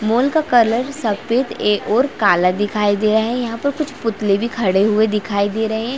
Mall का colour सफेद ए और काला दिखाई दे रहा है यहाँ पर कुछ पुतले भी खड़े हुए दिखाई दे रहे है।